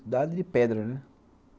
Cidade de pedra, né?